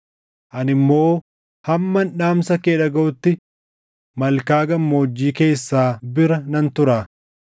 Ani immoo hamman dhaamsa kee dhagaʼutti malkaa gammoojjii keessaa bira nan tura.”